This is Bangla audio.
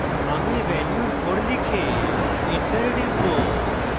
আমি value 4 লিখে enter type